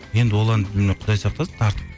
енді ол әнді мен құдай сақтасын тартып